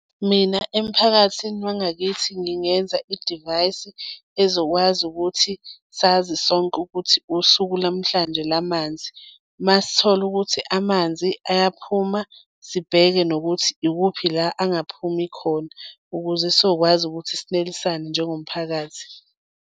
Mina emphakathini wangakithi ngingenza idivayisi ezokwazi ukuthi sazi sonke ukuthi usuku lamhlanje la manzi. Uma sithola ukuthi amanzi ayaphuma, sibheke nokuthi ikuphi la angaphumi khona ukuze sizokwazi ukuthi sinelisane njengomphakathi.